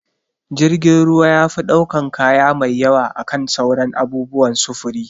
Jirgin ruwa yafi ɗaukan kaya mai yawa akan sauran abubuwan sufuri